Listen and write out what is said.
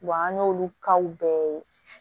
an y'olu bɛɛ ye